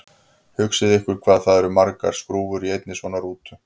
Hugsið ykkur hvað það eru margar skrúfur í einni svona rútu!